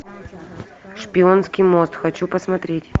шпионский мост хочу посмотреть